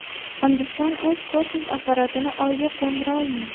Hindiston o‘z kosmik apparatini Oyga qo‘ndira olmadi.